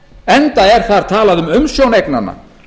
enda er þar talað um umsjón eignanna